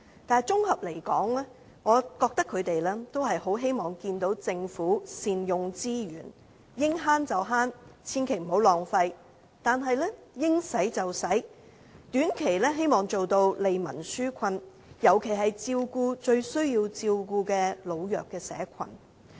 但綜合而言，他們是希望政府能善用資源，應節省便節省，千萬不要浪費，但又要應花便花，希望能短期內做到利民紓困，尤其照顧最需要照顧的老弱社群。